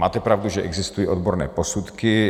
Máte pravdu, že existují odborné posudky.